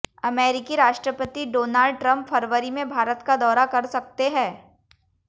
अमेरिकी राष्ट्रपति Donald Trump फरवरी में भारत का दौरा कर सकते हैं